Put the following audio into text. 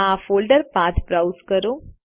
આ folder path browse કરો